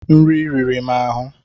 nri riri m ahụ.